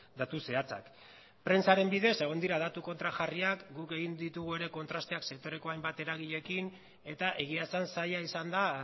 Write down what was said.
datu zehatzak prentsaren bidez egon dira datu kontrajarriak guk egin ditugu ere kontrasteak sektoreko hainbat eragileekin eta egia esan zaila izan da